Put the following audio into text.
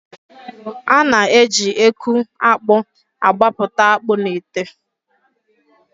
A na- eji eku akpụ agbapụta akpụ n'ite.